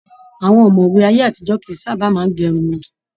Àwọn ọmọwé ayé àtijọ kìí sábà máa n gé irun wọn.